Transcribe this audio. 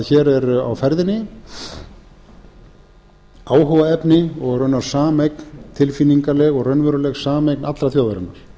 hér er á ferðinni áhugaefni og raun sameign tilfinningaleg og raunveruleg sameign allrar þjóðarinnar